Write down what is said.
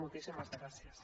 moltíssimes gràcies